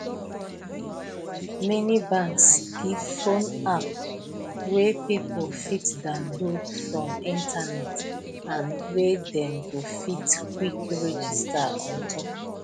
many banks give phone app wey people fit downlaod from internet and wey dem go fit quick register on top